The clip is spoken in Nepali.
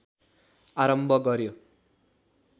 आरम्भ गर्‍यो